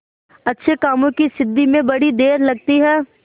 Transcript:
अच्छे कामों की सिद्धि में बड़ी देर लगती है